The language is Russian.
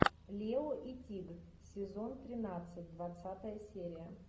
лео и тиг сезон тринадцать двадцатая серия